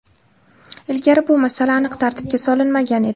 Ilgari bu masala aniq tartibga solinmagan edi.